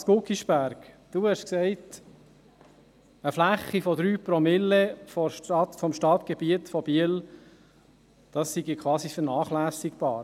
Lars Guggisberg, Sie haben gesagt eine Fläche von 3 Promille des Stadtgebiets von Biel sei quasi vernachlässigbar.